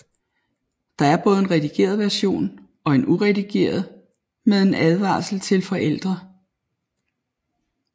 Der er både en redigeret version og en uredigeret med en advarsel til forældre